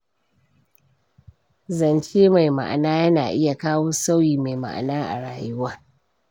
Zance mai ma'ana yana iya kawo sauyi mai ma'ana a rayuwa.